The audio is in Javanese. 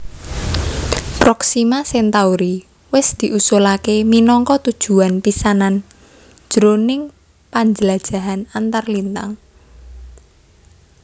Proxima Centauri wis diusulaké minangka tujuwan pisanan jroning panjlajahan antarlintang